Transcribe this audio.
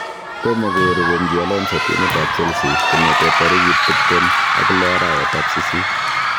Tomo kourerenji Alonso timit ab cChealsea kongetentarikit tiptem ak loh arawet ab sisit